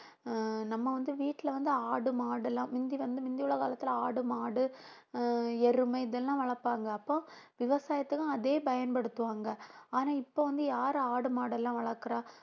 ஆஹ் நம்ம வந்து வீட்டில வந்து ஆடு மாடு எல்லாம் முந்தி வந்து முந்தி உள்ள காலத்துல ஆடு மாடு ஆஹ் எருமை இதெல்லாம் வளர்ப்பாங்க அப்போ விவசாயத்துக்கும் அதையே பயன்படுத்துவாங்க ஆனா இப்போ வந்து யாரு ஆடு மாடு எல்லாம் வளர்க்கிறா